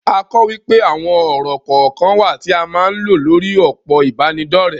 A kò wípé àwon ọ̀rọ̀ kọ̀ọ̀kan wà tí a máa ń lo lórí òpó ìbánidọ́rẹ̀.